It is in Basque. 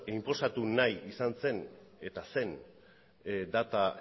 inposatu nahi izan zen eta zen data